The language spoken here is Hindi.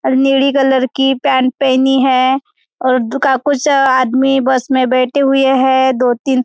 अ नीली कलर की पैंट पहनी है और दुका कुछ अ आदमी बस मे बैठे हुए हैं दो तीन--